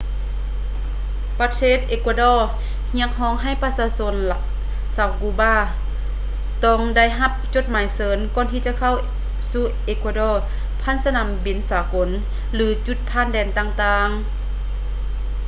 ປະເທດ ເອກົວດໍ ຮຽກຮ້ອງໃຫ້ປະຊາຊົນຊາວ ກູບາ ຕ້ອງໄດ້ຮັບຈົດໝາຍເຊີນກ່ອນຈະເຂົ້າສູ່ ເອກົວດໍ ຜ່ານສະໜາມບິນສາກົນ ຫຼື ຈຸດຜ່ານແດນຕ່າງໆ